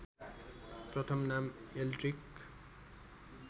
प्रथम नाम एल्ड्रिक